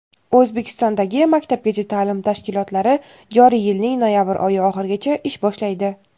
O‘zbekistondagi maktabgacha ta’lim tashkilotlari joriy yilning noyabr oyi oxirigacha ish boshlaydi.